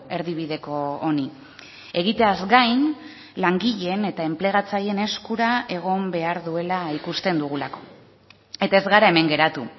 erdibideko honi egiteaz gain langileen eta enplegatzaileen eskura egon behar duela ikusten dugulako eta ez gara hemen geratu